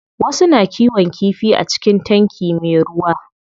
Wasu na kiwon kifi a cikin tanki me ruwa.